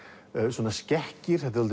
svona skekkir þetta